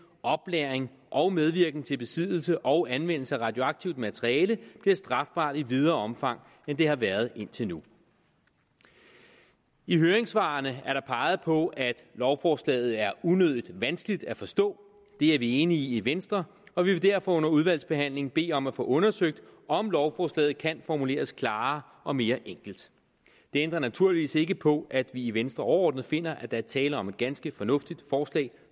oplæring og medvirken til besiddelse og anvendelse af radioaktivt materiale bliver strafbare i videre omfang end de har været indtil nu i høringssvarene er der peget på at lovforslaget er unødig vanskeligt at forstå det er vi enige i i venstre og vi vil derfor under udvalgsbehandlingen bede om at få undersøgt om lovforslaget kan formuleres klarere og mere enkelt det ændrer naturligvis ikke på at vi i venstre overordnet finder at der er tale om et ganske fornuftigt forslag